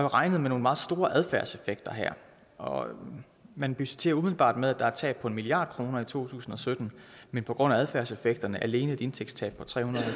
regnet med nogle meget store adfærdseffekter her og man budgetterer umiddelbart med at der er et tab på en milliard kroner i to tusind og sytten men på grund af adfærdseffekterne alene et indtægtstab på tre hundrede og